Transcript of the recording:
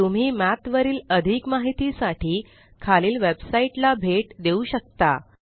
तुम्ही मठ वरील अधिक माहिती साठी खालील वेबसाइट ला भेट देऊ शकता